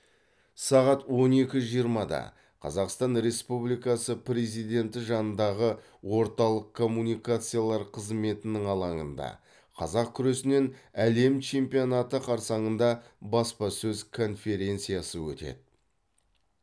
сағат он екі жиырмада қазақ республикасы президенті жанындағы орталық коммуникациялар қызметінің алаңында қазақ күресінен әлем чемпионаты қарсаңында баспасөз конференциясы өтеді